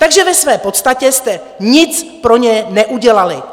Takže ve své podstatě jste nic pro ně neudělali.